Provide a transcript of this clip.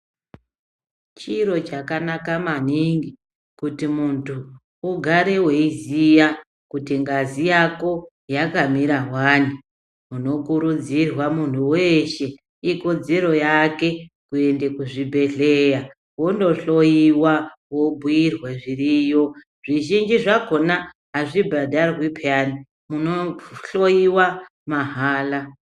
Chiro chakanaka maningi kuti muntu ugare weiziya kuti ngazi yako yakamira wani, unokurudzirwa muntu weshe ikodzero yake kuende kuzvibhedhlera wondohloyiwa wobhuyirwa zviriyo zvizhinji zvakona azvibhadharwi peyani unohloyiwa mahala.